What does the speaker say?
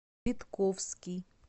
витковский